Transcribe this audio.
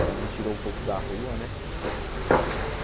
Ele me tirou um pouco da rua, né?